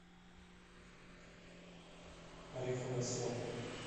ореховая сопка